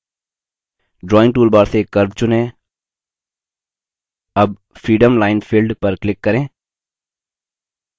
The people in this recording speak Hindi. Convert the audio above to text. drawing toolbar से curve चुनें अब freeform line filled पर click करें